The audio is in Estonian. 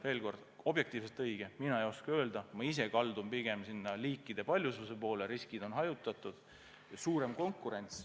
Veel kord: mis on objektiivselt õige, mina ei oska öelda, ma ise kaldun pigem liikide paljususe poole – riskid on hajutatud ja suurem konkurents.